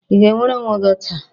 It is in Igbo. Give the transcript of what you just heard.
Ị ga-enwere onwe gị taa?